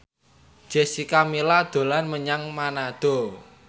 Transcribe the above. Jessica Milla dolan menyang Manado